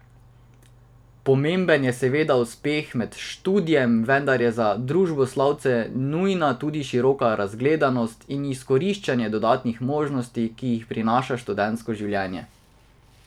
Pomemben je seveda uspeh med študijem, vendar je za družboslovce nujna tudi široka razgledanost in izkoriščanje dodatnih možnosti, ki jih prinaša študentsko življenje.